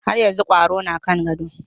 Har yanzu kwaro na kan gado.